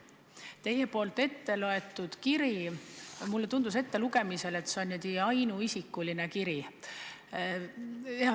Teie poolt ette loetud kiri tundus olevat ainuisikuline kiri.